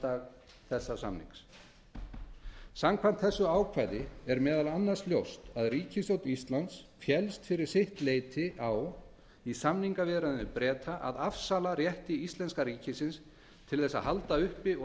undirritunardag þessa samnings samkvæmt þessu ákvæði er meðal annars ljóst að ríkisstjórn íslands og samninganefnd hennar féllst fyrir sitt leyti á í samningaviðræðum við breta að afsala rétti íslenska ríkisins til að halda uppi og